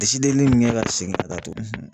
li min kɛ ka segin ka taa tuguni